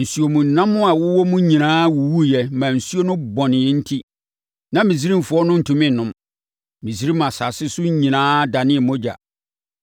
Nsuomnam a wɔwɔ mu nyinaa wuwuiɛ maa nsuo no bɔnee enti, na Misraimfoɔ no ntumi nnom. Misraim asase so nyinaa danee mogya.